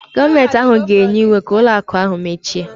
Gọọmentị ga-enye iwu ka ụlọ akụ ahụ mechie